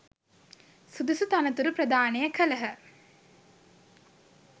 සුදුසු තනතුරු ප්‍රදානය කළහ.